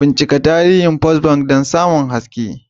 Bincika tarihin Bankin First Bank don samun haske.